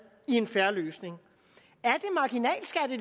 i en fair løsning